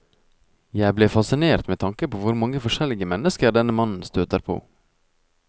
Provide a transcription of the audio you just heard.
Jeg ble fascinert med tanke på hvor mange forskjellige mennesker denne mannen støter på.